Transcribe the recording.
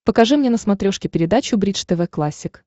покажи мне на смотрешке передачу бридж тв классик